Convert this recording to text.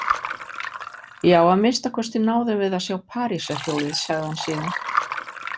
Já, að minnsta kosti náðum við að sjá Parísarhljólið, sagði hann síðan.